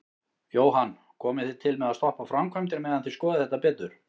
Jóhann: Komið þið til með að stoppa framkvæmdir meðan þið skoðið þetta betur?